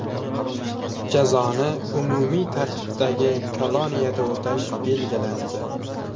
Jazoni umumiy tartibdagi koloniyada o‘tash belgilandi.